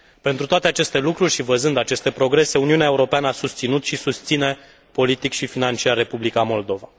Pentru toate aceste lucruri și văzând aceste progrese, Uniunea Europeană a susținut și susține politic și financiar Republica Moldova.